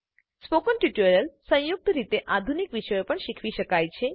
spoken tutorials સંયુક્ત રીતે આધુનિક વિષયો પણ શીખવી શકાય છે